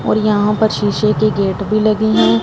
और यहां पर शीशे की गेट भी लगे हैं।